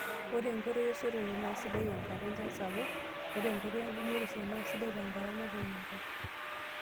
Ore enkoitoi esotore naa sidai nkata tenchan sapuk. Ore enkoitoi engumotisho naa sidai tenkata naatoyio enkop.